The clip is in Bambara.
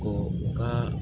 Ko u ka